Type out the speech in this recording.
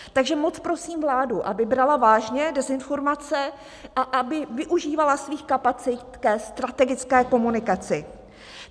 Takže moc prosím vládu, aby brala vážně dezinformace a aby využívala svých kapacit ke strategické komunikaci.